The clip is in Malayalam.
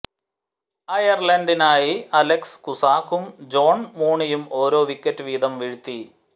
അയര്ലന്ഡിനായി അലക്സ് കുസാകും ജോണ് മൂണിയും ഓരോ വിക്കറ്റ് വീതം വീഴ്ത്തി